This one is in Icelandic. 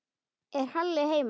Er Halli heima?